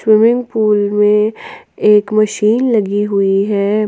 Swimming pool में एक machine लगी हुई है।